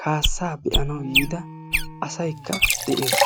kaassaa be'anawu yiida asaykka de'ees.